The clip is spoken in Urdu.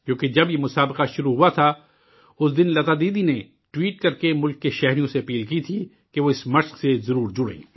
کیوں کہ جب یہ مقابلہ شروع ہوا تھا، اس دن لتا دیدی نے ٹوئٹ کرکے ملک کے شہریوں سے اپیل کی تھی کہ وہ اس روایت سے ضرور جڑیں